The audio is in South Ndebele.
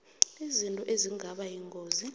izinto ezingaba yingozi